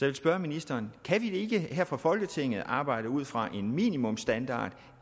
vil spørge ministeren kan vi ikke her fra folketinget arbejde ud fra en minimumsstandard